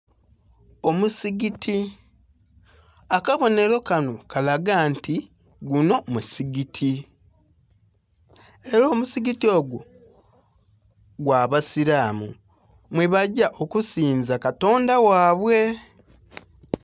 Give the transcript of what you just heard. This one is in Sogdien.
Omusigiti. Akabonhelo kanho kalaga nti gunho musigiti. Ela omusigiti ogwo, gwa basilamu, mwebagya okusinza katonda ghabwe.